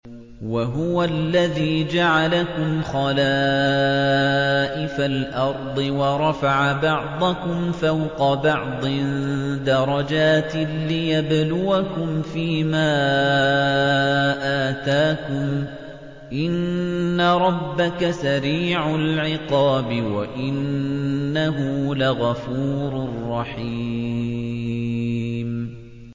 وَهُوَ الَّذِي جَعَلَكُمْ خَلَائِفَ الْأَرْضِ وَرَفَعَ بَعْضَكُمْ فَوْقَ بَعْضٍ دَرَجَاتٍ لِّيَبْلُوَكُمْ فِي مَا آتَاكُمْ ۗ إِنَّ رَبَّكَ سَرِيعُ الْعِقَابِ وَإِنَّهُ لَغَفُورٌ رَّحِيمٌ